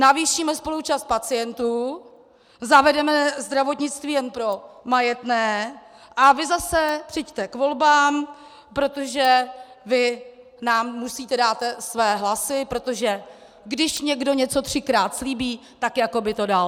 Navýšíme spoluúčast pacientů, zavedeme zdravotnictví jen pro majetné a vy zase přijďte k volbám, protože vy nám musíte dát své hlasy, protože když někdo něco třikrát slíbí, tak jako by to dal.